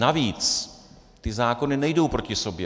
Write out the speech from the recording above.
Navíc ty zákony nejdou proti sobě.